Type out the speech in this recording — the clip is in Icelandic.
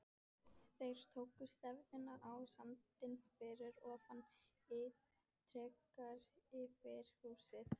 Þeir tóku stefnuna á sandinn fyrir ofan ytra-frystihúsið.